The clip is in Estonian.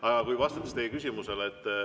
Aga vastan teie küsimusele.